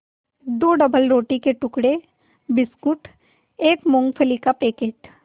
दो डबलरोटी के टुकड़े बिस्कुट एक मूँगफली का पैकेट